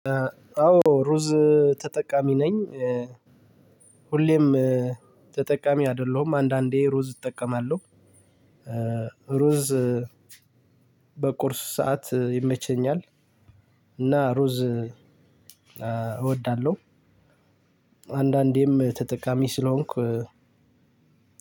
አዎ ሩዝ ተጠቃሚ ነኝ። ሁሌም ተጠቃሚ አይደለሁም አንዳንዴ ሩዝ እጠቀማለሁ። ሩዝ በቁርስ ሰዓት ይመቸኛል። እና ሩዝ እወዳለሁ። አንዳንዴም ተጠቃሚ ስለሆንኩ